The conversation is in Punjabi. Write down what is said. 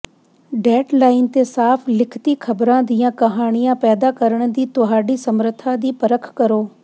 ਡੈੱਡਲਾਈਨ ਤੇ ਸਾਫ ਲਿਖਤੀ ਖਬਰਾਂ ਦੀਆਂ ਕਹਾਣੀਆਂ ਪੈਦਾ ਕਰਨ ਦੀ ਤੁਹਾਡੀ ਸਮਰੱਥਾ ਦੀ ਪਰਖ ਕਰੋ